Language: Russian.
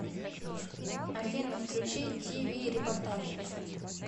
афина включи ди ви репортажи